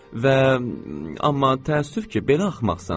Və amma təəssüf ki, belə axmaqsən.